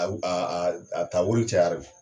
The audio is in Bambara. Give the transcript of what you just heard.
A ta wari cɛyara de.